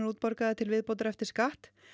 útborgaðar til viðbótar eftir skatt